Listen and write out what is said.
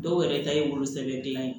Dɔw yɛrɛ ta ye wolosɛbɛn dilan ye